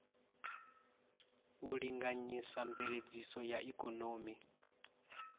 u linganyisa mveledziso ya ikonomi